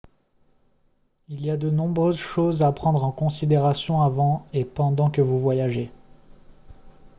il y a de nombreuses choses à prendre en considération avant et pendant que vous voyagez